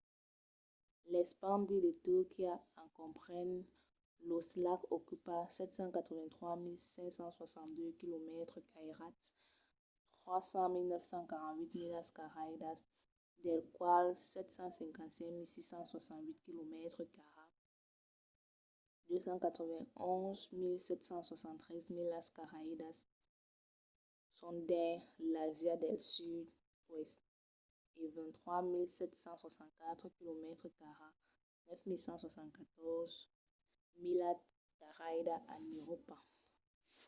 l’espandi de turquia en comprenent los lacs ocupa 783.562 quilomètres cairats 300.948 milas cairadas dels quals 755.688 quilomètres cairats 291.773 milas cairadas son dins l’àsia del sud-oèst e 23.764 quilomètres cairats 9.174 milas cairadas en euròpa